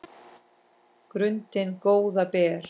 grundin góða ber